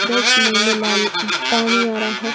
Guys मुंह में लाल पानी आ रहा है।